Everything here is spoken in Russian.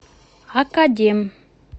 академ